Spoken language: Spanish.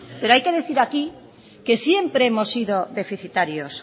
pero hay que decir aquí que siempre hemos sido deficitarios